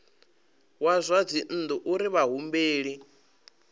wa zwa dzinnu uri vhahumbeli